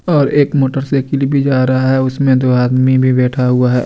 और एक motorcycle भी जा रहा है उसमें दो आदमी भी बैठा हुआ है।